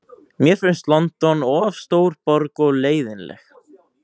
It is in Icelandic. Mér finnst London of stór borg og leiðinleg.